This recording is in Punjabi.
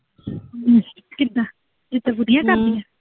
ਅੱਛਾ, ਕਿੱਦਾਂ, ਏਦਾਂ ਵਧੀਆ ਕਰਦੀ ਆਂ।